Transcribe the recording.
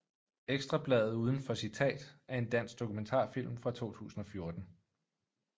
Ekstra Bladet uden for citat er en dansk dokumentarfilm fra 2014